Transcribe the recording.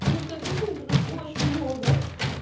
потому что обычно берут очень много